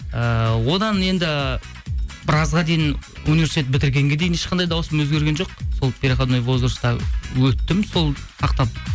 ыыы одан енді біразға дейін университет бітіргенге дейін ешқандай дауысым өзгерген жоқ сол переходной возрасттан өттім сол сақтап